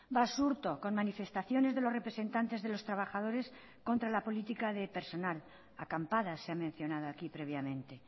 basurto con manifestaciones de los representantes de los trabajadores contra la política de personal acampadas se ha mencionado aquí previamente